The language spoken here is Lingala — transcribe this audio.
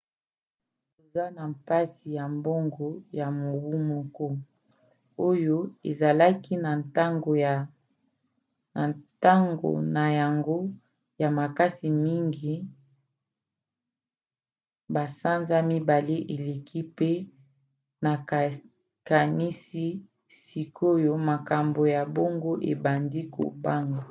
toza na mpasi ya mbongo ya mobu moko oyo ezalaki na ntango na yango ya makasi mngi basanza mibale eleki pe nakanisi sikoyo makambo ya mbongo ebandi kobonga.